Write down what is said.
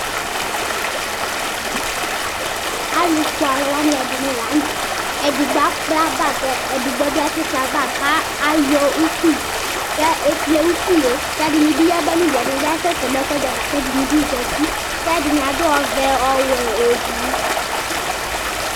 Alufue aluɛdini la nu tɛ edigbo akpla bag kuedigbo asi kple bag ayɔ ukpi ku ekple ukpi ku ɛdini bi yaba nu du ɛdini bi asɛsɛ nu ɛkuɛdi ava aluɛdini zati kɛdini kasɛsɛ ɛdini adu ɔvɛ ɔwɛ eblu